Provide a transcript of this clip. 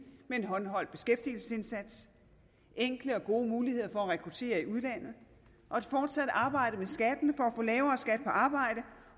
med en håndholdt beskæftigelsesindsats enkle og gode muligheder for at rekruttere i udlandet og et fortsat arbejde med skatten for at få lavere skat på arbejde